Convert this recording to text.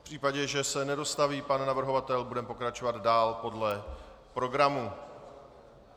V případě, že se nedostaví pan navrhovatel, budeme pokračovat dál podle programu.